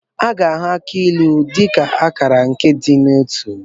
A ga-ahụ akị ilu dị ka akala nke ịdị n'otu.